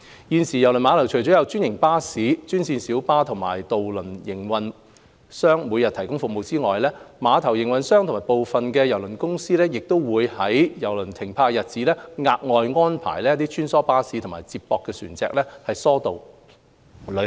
現時，郵輪碼頭除有專營巴士、專線小巴和渡輪營運商每天提供服務外，碼頭營運商和部分郵輪公司亦會在郵輪停泊的日子額外安排穿梭巴士及接駁船疏導旅客。